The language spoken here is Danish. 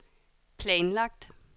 planlagt